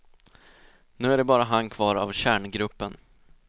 Nu är det bara han kvar av kärngruppen.